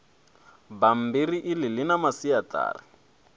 bammbiri iḽi ḽi na masiaṱari